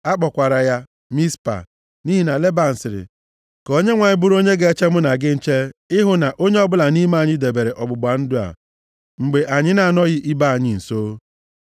A kpọkwara ya Mizpa, nʼihi na Leban sịrị, “Ka Onyenwe anyị bụrụ onye ga-eche mụ na gị nche ịhụ na onye ọbụla nʼime anyị debere ọgbụgba ndụ a, mgbe anyị na-anọghị ibe anyị nso.